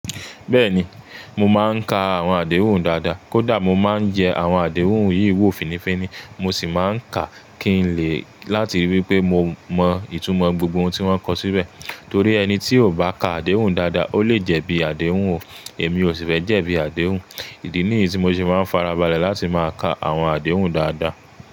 Bẹ́ẹ̀ni, mo máa ń ka àwọn àdéhùn dáadáa. Kódà mo máa ń jẹ àwọn àdéhùn yìí wò fínifíni, mo sì máa ń kàá kí n lè láti ríi wí pé mo mọ ìtumọ̀ gbogbo ohun tí wọ́n kọ síbẹ̀. Torí ẹni tí ò bá ka àdéhùn dáadáa, ó lè jẹ́ bí àdéhùn o. Èmi ò sì fẹ́ jẹ́ bí àdéhùn. Ìdí nìyí tí mo sì máa ń farabalẹ̀ láti máa ka àwọn àdéhùn dáadáa.